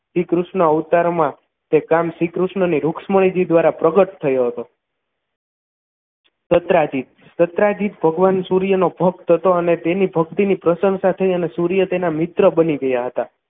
શ્રીકૃષ્ણ અવતારમાં તે કામ શ્રીકૃષ્ણજીને રુક્ષ્મણી દ્વારા પ્રગટ થયો હતો દત્રાજીત દત્રાજીત ભગવાન સૂર્ય નો ભક્ત હતો અને તેની ભક્તિની પ્રસન્નતા થઈ અને સૂર્ય તેના મિત્ર બની ગયા હતા